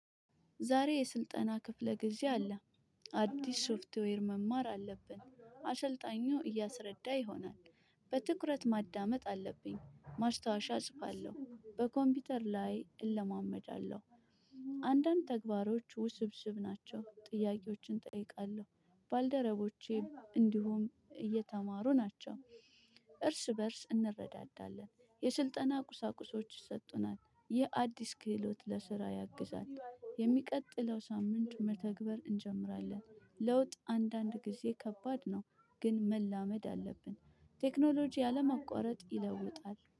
ዛሬ የስልጠና ክፍለ ጊዜ አለ። አዲስ ሽፋትዌር መማር አለብን አስልጣኙ እያስረዳ ይሆናል። በትኩረት ማዳመጥ አለብኝ ማስታወሻ አጽፋለሁ በኮምፒውተር ላይ እለማመዳለሁ። አንዳንድ ተግባሮች ውስብስብ ናቸው ጥያቄዎችን እጠይቃለሁ። ባልደረቦቼ እንዲሁም እየተማሩ ናቸው። እርስ በእርስ እንረዳዳለን የስልጠና ቁሳቁሶች ይሰጡናል ይህ አዲስ ክህሎት ለስራ ያግዛል። የሚቀጥለው ሳምንት መተግበር እንጀምራለን። ለውጥ አንዳንድ ጊዜ ከባድ ነው። ግን መላመድ አለብን። ቴክኖሎጂ አለመቋረጥ ይለውጣል